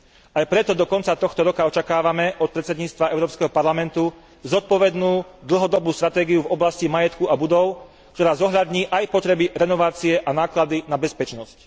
Aj preto do konca tohto roka očakávame od predsedníctva Európskeho parlamentu zodpovednú, dlhodobú stratégiu v oblasti majetku a budov, ktorá zohľadní aj potreby renovácie a náklady na bezpečnosť.